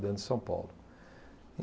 Dentro de São Paulo.